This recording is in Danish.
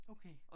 Okay